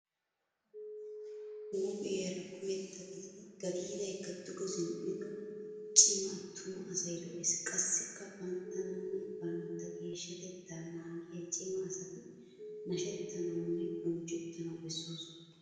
Huuphiyaara kumetta gididi gadiidaykka duge zin"ido cima attuma asay lo"ees. Qassikka banttananne bantta geeshshatettaa naagiyaa cima asati nashettanawunne bonchchettanawu bessoosona.